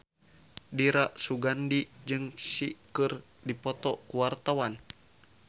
Dira Sugandi jeung Psy keur dipoto ku wartawan